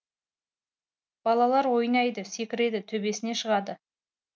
балалар ойнайды секіреді төбесіне шығады